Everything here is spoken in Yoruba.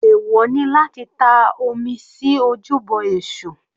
Ẹ̀wọ̀ ni láti ta omi sí ojúbọ èṣù.